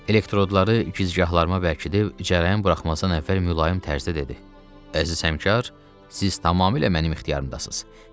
Elektrodları güzgahlarıma bərkidib cərəyan buraxmazdan əvvəl mülayim tərzdə dedi: “Əziz həmkar, siz tamamilə mənim ixtiyarımdasız.